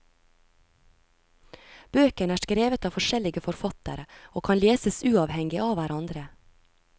Bøkene er skrevet av forskjellige forfattere og kan leses uavhengig av hverandre.